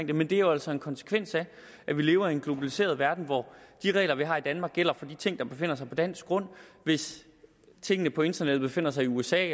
det men det er jo altså en konsekvens af at vi lever i en globaliseret verden hvor de regler vi har i danmark gælder for de ting der befinder sig på dansk grund hvis tingene på internettet befinder sig i usa